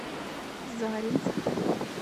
заринск